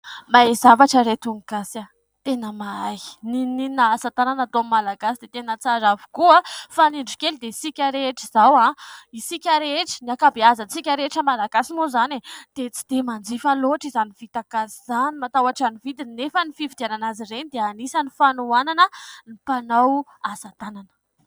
Mahay zavatra ry ireto ny Gasy ! Tena mahay ! Na inona na inona asa tanana ataon'ny Malagasy dia tena tsara avokoa. Fa ny indro kely dia isika rehetra izao, isika rehetra, ny ankabeazantsika rehetra Malagasy moa zany dia tsy dia manjifa loatra izany vita gasy izany, matahotra ny vidiny anefa ny fividianana azy ireny dia anisan'ny fanohanana ny mpanao asa tanana.